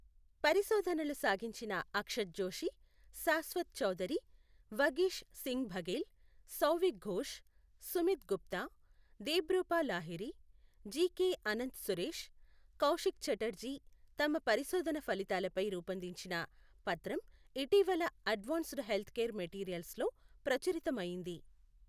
పరిశోధనలు సాగించిన అక్షత్ జోషి, శాశ్వత్ చౌదరి, వగీష్ సింగ్ బఘెల్, సౌవిక్ ఘోష్, సుమీత్ గుప్తా, దేబ్రూపా లాహిరి, జికె అనంతసురేష్, కౌశిక్ ఛటర్జీ తమ పరిశోధన ఫలితాలపై రూపొందించిన పత్రం ఇటీవల అడ్వాన్స్డ్ హెల్త్కేర్ మెటీరియల్స్ లో ప్రచురితమయింది.